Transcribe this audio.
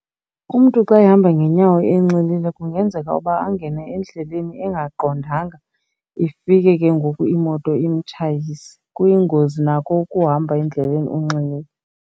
Umntu xa uhamba ngenyawo enxilile kungenzeka uba angene endleleni engaqondanga, ifike ke ngoku imoto imtshayise. Kuyingozi nako ukuhamba endleleni unxilile.